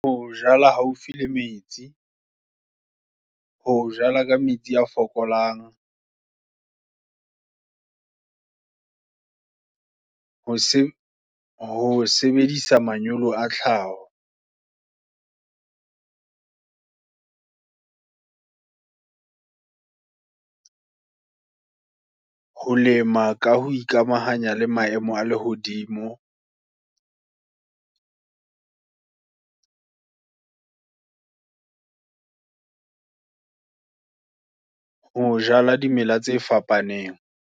Ho jala haufi le metsi, ho jala ka metsi a fokolang, ho se ho sebedisa manyolo a tlhaho. Ho lema ka ho ikamahanya, le maemo a lehodimo, ho jala dimela tse fapaneng.